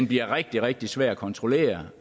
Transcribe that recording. bliver rigtig rigtig svær at kontrollere